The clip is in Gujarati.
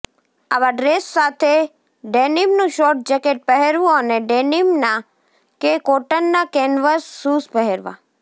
આવા ડ્રેસ સાથે ડેનિમનું શોર્ટ જેકેટ પહેરવું અને ડેનિમનાં કે કોટનનાં કેન્વસ શૂઝ પહેરવાં